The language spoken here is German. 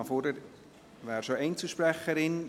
Regina Fuhrer wäre bereits Einzelsprecherin.